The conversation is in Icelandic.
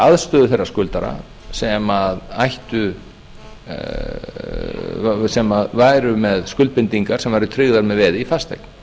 aðstöðu þeirra skuldara sem væru með skuldbindingar sem væru tryggðar með veði í fasteign